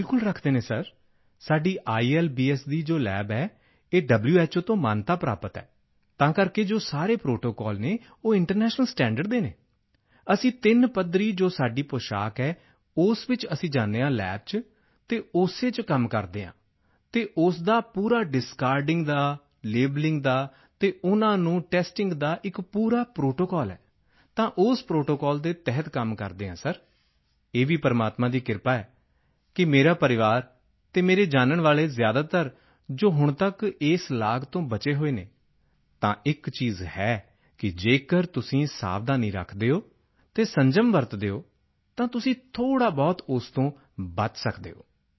ਬਿਲਕੁਲ ਰੱਖਦੇ ਹਨ ਸਰ ਸਾਡੀ ਆਈਐਲਬੀਐਸ ਦੀ ਜੋ ਲੱਬ ਹੈ ਇਹ ਵ੍ਹੋ ਤੋਂ ਮਾਨਤਾ ਪ੍ਰਾਪਤ ਹੈ ਤਾਂ ਜੋ ਸਾਰੇ ਪ੍ਰੋਟੋਕੋਲ ਹਨ ਉਹ ਇੰਟਰਨੈਸ਼ਨਲ ਸਟੈਂਡਰਡਜ਼ ਦੇ ਹਨ ਅਸੀਂ ਤਿੰਨ ਪੱਧਰੀ ਜੋ ਸਾਡੀ ਪੁਸ਼ਾਕ ਹੈ ਉਸ ਵਿੱਚ ਅਸੀਂ ਜਾਂਦੇ ਹਾਂ ਲੱਬ ਵਿੱਚ ਅਤੇ ਉਸੇ ਵਿੱਚ ਕੰਮ ਕਰਦੇ ਹਾਂ ਅਤੇ ਉਸ ਦਾ ਪੂਰਾ ਡਿਸਕਾਰਡਿੰਗ ਦਾ ਲੈਬਲਿੰਗ ਦਾ ਅਤੇ ਉਨ੍ਹਾਂ ਨੂੰ ਟੈਸਟਿੰਗ ਦਾ ਇੱਕ ਪੂਰਾ ਪ੍ਰੋਟੋਕੋਲ ਹੈ ਤਾਂ ਉਸ ਪ੍ਰੋਟੋਕੋਲ ਦੇ ਤਹਿਤ ਕੰਮ ਕਰਦੇ ਹਾਂ ਤਾਂ ਸਰ ਇਹ ਵੀ ਪ੍ਰਮਾਤਮਾ ਦੀ ਕਿਰਪਾ ਹੈ ਕਿ ਮੇਰਾ ਪਰਿਵਾਰ ਅਤੇ ਮੇਰੇ ਜਾਨਣ ਵਾਲੇ ਜ਼ਿਆਦਾਤਰ ਜੋ ਹੁਣ ਤੱਕ ਇਸ ਲਾਗ ਤੋਂ ਬਚੇ ਹੋਏ ਹਨ ਤਾਂ ਇੱਕ ਚੀਜ਼ ਹੈ ਕਿ ਜੇਕਰ ਤੁਸੀਂ ਸਾਵਧਾਨੀ ਰੱਖਦੇ ਹੋ ਅਤੇ ਸੰਜਮ ਵਰਤਦੇ ਹੋ ਤਾਂ ਤੁਸੀਂ ਥੋੜ੍ਹਾਬਹੁਤ ਉਸ ਤੋਂ ਬਚੇ ਰਹਿ ਸਕਦੇ ਹੋ